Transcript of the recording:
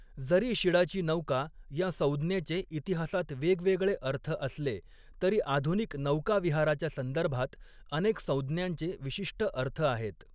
जरी शिडाची नौका या संज्ञेचे इतिहासात वेगवेगळे अर्थ असले, तरी आधुनिक नौकाविहाराच्या संदर्भात अनेक संज्ञांचे विशिष्ट अर्थ आहेत.